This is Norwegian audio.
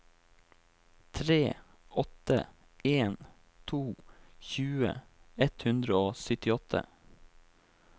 tre åtte en to tjue ett hundre og syttiåtte